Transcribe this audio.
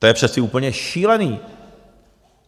To je přece úplně šílené.